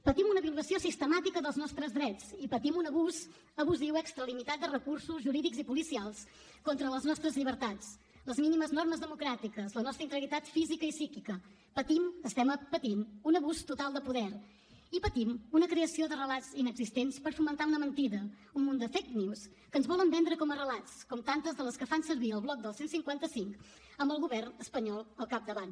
patim una violació sistemàtica dels nostres drets i patim un abús abusiu i extralimitat de recursos jurídics i policials contra les nostres llibertats les mínimes normes democràtiques la nostra integritat física i psíquica patim estem patint un abús total de poder i patim una creació de relats inexistents per fomentar una mentida un munt de fake news que ens volen vendre com a relats com tantes de les que fan servir el bloc del cent i cinquanta cinc amb el govern espanyol al capdavant